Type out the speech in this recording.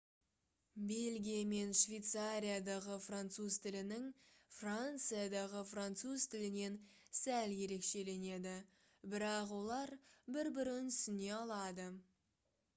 бельгия мен швейцариядағы француз тілінің франциядағы француз тілінен сәл ерекшеленеді бірақ олар бір-бірін түсіне алады